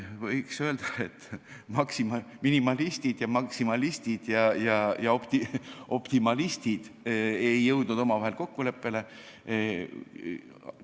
Võiks öelda, et minimalistid, maksimalistid ja optimalistid ei jõudnud omavahel kokkuleppele.